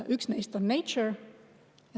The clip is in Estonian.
Üks neist on Nature.